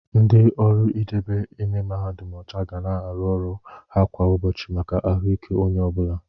Ndị ọrụ idebe ime mahadum ọcha ga na-arụ ọrụ ha kwa ụbọchị maka ahụike onye ọ bụla.